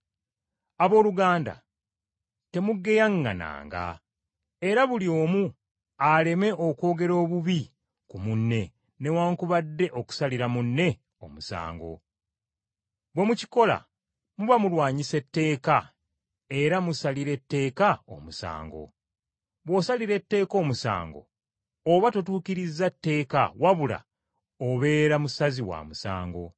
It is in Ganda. Abooluganda, temugeyaŋŋananga, era buli omu aleme kwogera bubi ku munne newaakubadde okusalira munne omusango. Bwe mukikola muba mulwanyisa etteeka era musalira etteeka omusango. Bw’osalira etteeka omusango, oba totuukiriza tteeka wabula obeera musazi wa musango.